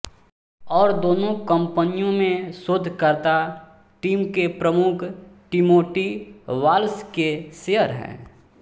और दोनों कंपनियों में शोधकर्ता टीम के प्रमुख टीमोटी वाल्स के शेयर हैं